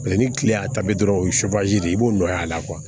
ni kile y'a ta bi dɔrɔn o ye de ye i b'o nɔ y'a la